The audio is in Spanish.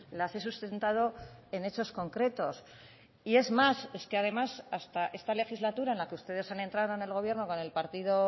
las he sustentado en hechos concretos y es más es que además hasta esta legislatura en la que ustedes han entrado en el gobierno con el partido